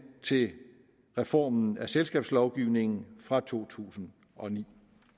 til reformen af selskabslovgivningen fra to tusind og ni